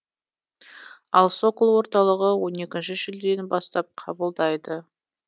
ал сокол орталығы он екінші шілденің бастап қабылдайды